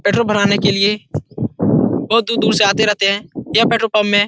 Petrol भराने के लिए बहुत दूर-दूर से आते रहते हैं। यह पेट्रोल पंप में --